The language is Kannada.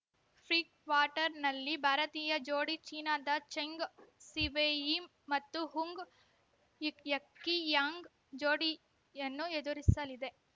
ಪ್ರಿ ಕ್ವಾರ್ಟರ್‌ನಲ್ಲಿ ಭಾರತೀಯ ಜೋಡಿ ಚೀನಾದ ಜೆಂಗ್‌ ಸಿವೆಯಿ ಮತ್ತು ಹುಂಗ್‌ ಯುಕ್ ಯಕಿಯಾಂಗ್‌ ಜೋಡಿಯನ್ನು ಎದುರಿಸಲಿದೆ